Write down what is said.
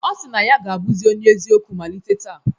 Ọ si na ọ ga-abụzi onye eziokwu malite taa.